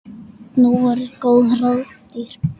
Nú voru góð ráð dýr!